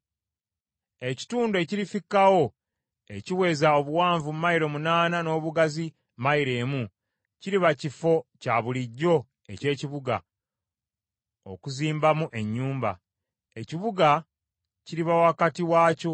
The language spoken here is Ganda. “Ekitundu ekirifikkawo ekiweza obuwanvu mayilo munaana n’obugazi mayilo emu kiriba kifo kya bulijjo eky’ekibuga, okuzimbamu ennyumba. Ekibuga kiriba wakati wakyo,